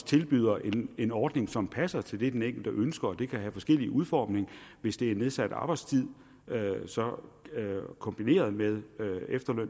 tilbyder en en ordning som passer til det den enkelte ønsker og det kan have forskellig udformning hvis det er nedsat arbejdstid kombineret med